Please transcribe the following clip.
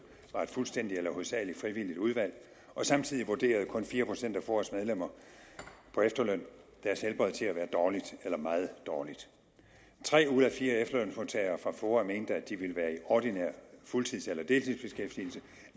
var et fuldstændig eller hovedsagelig frivilligt valg og samtidig vurderede kun fire procent af foas medlemmer på efterløn deres helbred til at være dårligt eller meget dårligt tre ud af fire efterlønsmodtagere fra foa mente at de ville være i ordinær fuldtids eller deltidsbeskæftigelse